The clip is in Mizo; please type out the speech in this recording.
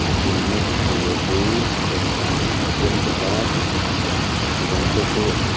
a din na tur hi dawh san an siam chawpa bah a bang te chu--